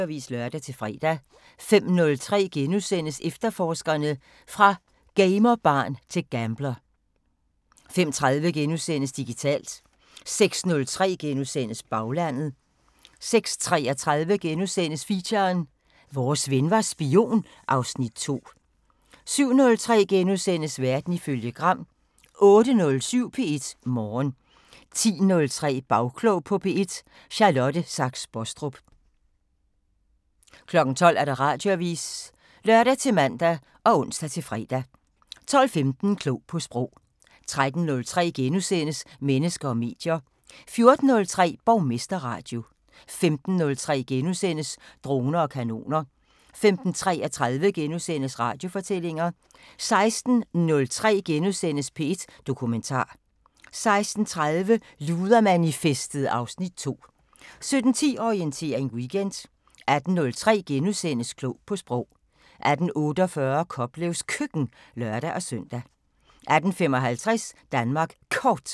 13:03: Mennesker og medier * 14:03: Borgmesterradio 15:03: Droner og kanoner * 15:33: Radiofortællinger * 16:03: P1 Dokumentar * 16:30: Ludermanifestet (Afs. 2) 17:10: Orientering Weekend 18:03: Klog på Sprog * 18:48: Koplevs Køkken (lør-søn) 18:55: Danmark Kort